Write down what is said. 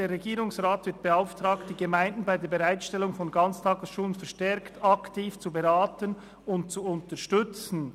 «Der Regierungsrat wird beauftragt, die Gemeinden bei der Bereitstellung von Ganztagesschulen verstärkt aktiv zu beraten und zu unterstützen.